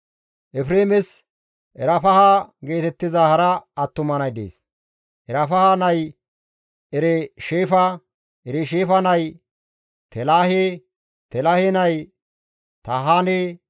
Efreemes Erfaha geetettiza hara attuma nay dees; Erfaha nay Eresheefa; Eresheefa nay Telaahe; Telaahe nay Tahaane;